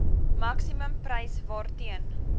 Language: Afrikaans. maksimum prys waarteen